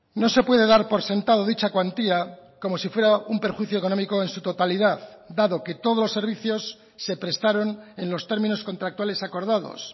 no se puede dar por sentado dicha cuantía como si fuera un perjuicio económico en su totalidad dado que todos los servicios se prestaron en los términos contractuales acordados